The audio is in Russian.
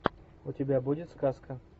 у тебя будет сказка